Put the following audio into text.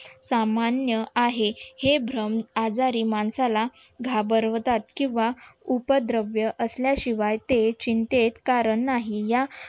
सामान्य आहे हे भ्रम आजारी माणसाला घाबरवतात किंवा उपद्रवी असल्याशिवाय ते चिंतेत कारण नाही या